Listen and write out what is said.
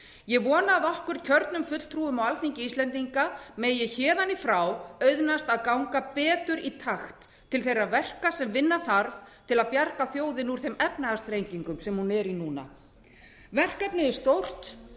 ég vona að okkur kjörnum fulltrúum á alþingi íslendinga megi héðan í frá auðnast að ganga betur í takt til þeirra verka sem vinna þarf til að bjarga þjóðinni úr þeim efnahagsþrengingum sem hún er í núna verkefnið er stórt